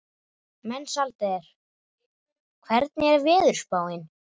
Mensalder, hvernig er veðurspáin?